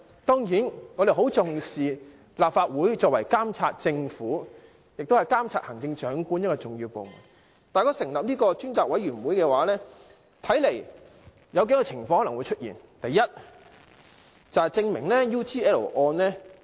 當然，我們很重視立法會作為監察政府及行政長官的一個重要部門，但如果成立這個專責委員會的話，我估計有可能出現數種情況。